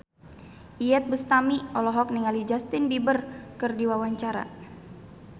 Iyeth Bustami olohok ningali Justin Beiber keur diwawancara